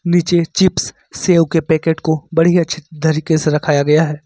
नीचे चिप्स सेव के पैकेट को बड़े ही अच्छी तरीके से रखाया गया है।